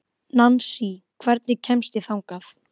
Nansý, hvernig kemst ég þangað?